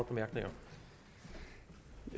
bemærkninger